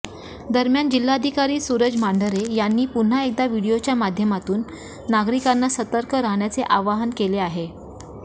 दरम्यान जिल्हाधिकारी सुरज मांढरे यांनी पुन्हा एकदा व्हिडीओच्या माध्यमातून नागरिकांना सतर्क राहण्याचे आवाहन केले आहे